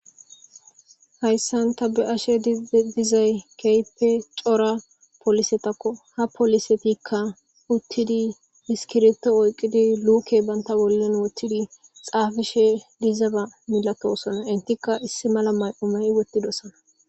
hayssanta be7ashe dizay keype cora polisetakko ha polisetikka uttidi miskirto oyqidi luuke banta wollen woththidi xaafishe dizeba milatosona intikka issi mala may7umey wottidosana